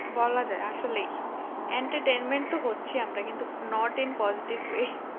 বলা যায় আসলেই entertainment তো হচ্ছে আমরা not in positive way